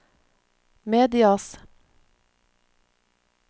medias